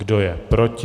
Kdo je proti?